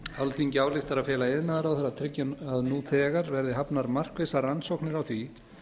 alþingi ályktar að fela iðnaðarráðherra að tryggja að nú þegar verði hafnar markvissar rannsóknir á því